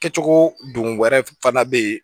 Kɛcogo don wɛrɛ fana bɛ yen